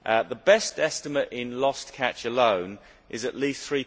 The best estimate in lost catch alone is at least GBP